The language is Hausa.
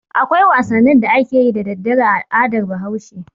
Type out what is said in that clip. Akwai wasannin da ake yi da dare a al'adar Bahaushe.